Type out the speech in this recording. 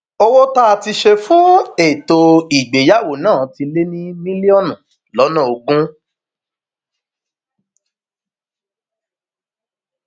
owó tá a ti ṣe fún ètò ìgbéyàwó náà ti lé ní mílíọnù lọnà ogún